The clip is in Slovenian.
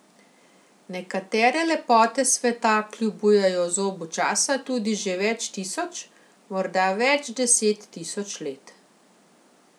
Nekatere lepote sveta kljubujejo zobu časa tudi že več tisoč, morda več deset tisoč let.